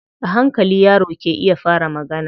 A hankali yaro ke iya fara magana.